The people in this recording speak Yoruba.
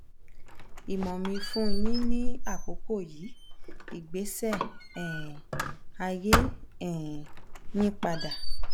imo mi fun yin ni akọkọ yi igbesi um aye um yin pada